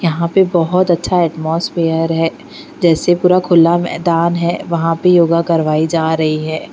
यहाँ पे बोहोत अच्छा अटमॉस्पीअर है जैसे पूरा खुला मैदान है वहा पे योगा करवाई जा रही है।